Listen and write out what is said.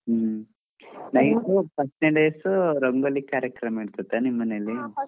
ಹ್ಮ್ first ನೆ days rangoli ಕಾರ್ಯಕ್ರಮ ಇರತೆತ ನಿಮ್ ಮನೇಲಿ.